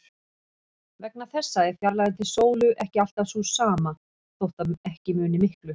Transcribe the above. Vegna þessa er fjarlægðin til sólu ekki alltaf sú sama, þótt ekki muni miklu.